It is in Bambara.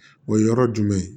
O ye yɔrɔ jumɛn ye